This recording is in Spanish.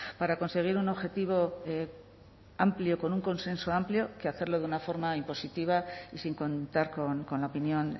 para conseguir un objetivo amplio con un consenso amplio que hacerlo de una forma impositiva y sin contar con la opinión